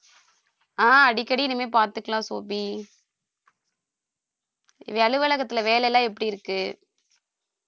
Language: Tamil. ஆஹ் அடிக்கடி இனிமே பார்த்துக்கலாம் சோபி அலுவலகத்துல வேலைலாம் எப்படி இருக்கு